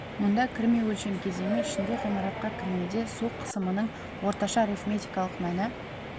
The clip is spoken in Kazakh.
мұнда кірме өлшем кезеңі ішінде ғимаратқа кірмеде су қысымының орташа арифметикалық мәні